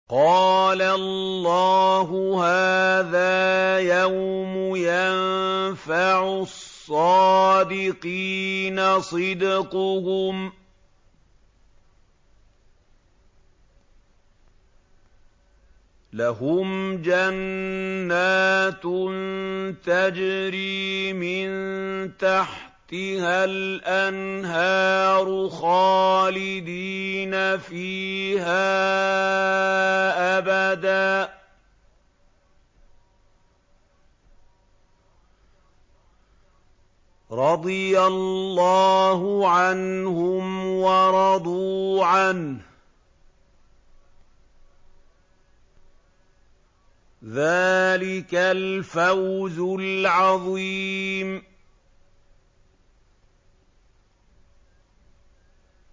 قَالَ اللَّهُ هَٰذَا يَوْمُ يَنفَعُ الصَّادِقِينَ صِدْقُهُمْ ۚ لَهُمْ جَنَّاتٌ تَجْرِي مِن تَحْتِهَا الْأَنْهَارُ خَالِدِينَ فِيهَا أَبَدًا ۚ رَّضِيَ اللَّهُ عَنْهُمْ وَرَضُوا عَنْهُ ۚ ذَٰلِكَ الْفَوْزُ الْعَظِيمُ